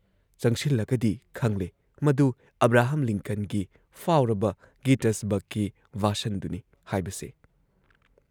ꯆꯪꯁꯤꯜꯂꯒꯗꯤ ꯈꯪꯂꯦ ꯃꯗꯨ ꯑꯥꯕ꯭ꯔꯥꯍꯝ ꯂꯤꯟꯀꯟꯒꯤ ꯐꯥꯎꯔꯕ ꯒꯤꯇꯁꯕꯔꯒꯀꯤ ꯚꯥꯁꯟꯗꯨꯅꯤ ꯍꯥꯏꯕꯁꯦ ꯫